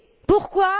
Pourquoi?